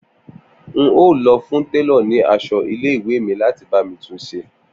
N óò lọ fún télọ̀ ni aṣọ ilé ìwé mi láti bá mi tun ṣe